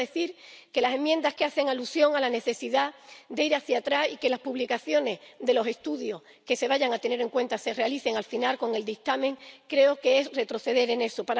Quiero decir que las enmiendas que hacen alusión a la necesidad de ir hacia atrás y a que las publicaciones de los estudios que se vayan a tener en cuenta se realicen al final con el dictamen, suponen un retroceso.